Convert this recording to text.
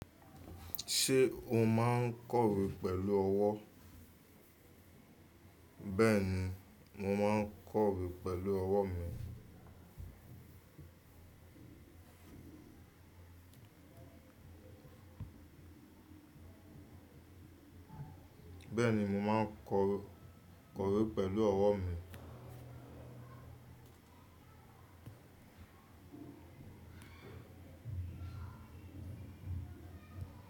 Ṣé o máa ń kọ̀wé pẹ̀lú ọwọ́? Bẹ́ẹ̀ni, mo máa ń kọ̀wé pẹ̀lú ọwọ́ mi. Bẹ́ẹ̀ni, mo máa ń kọ̀wé kọ̀wé pẹ̀lú ọwọ́ mi.